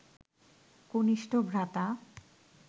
কনিষ্ঠ ভ্রাতা